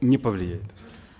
не повлияет